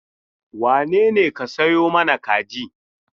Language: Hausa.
Wane ne ka sayo ma kaji?